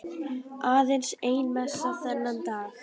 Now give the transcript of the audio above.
Aðeins ein messa þennan dag.